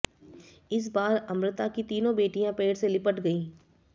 इस बार अमृता की तीनों बेटियां पेड़ से लिपट गर्इं